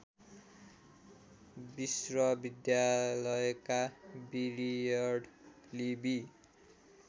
विश्वविद्यालयका Willard Libby